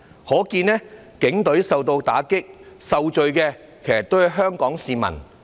可見警隊受到打擊，受罪的還是香港市民。